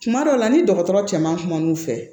Kuma dɔw la ni dɔgɔtɔrɔ cɛ man kumu fɛ